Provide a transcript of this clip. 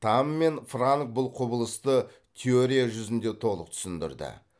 тамм мен франк бұл құбылысты теория жүзінде толық түсіндірді